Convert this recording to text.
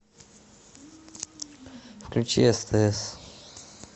включи стс